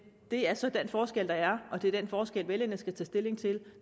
det er så den forskel der er og det er den forskel vælgerne skal tage stilling til